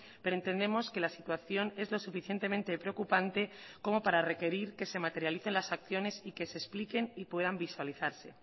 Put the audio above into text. pero entendemos que la situación es lo suficientemente preocupante como para requerir que se materialicen las acciones y que se expliquen y puedan visualizarse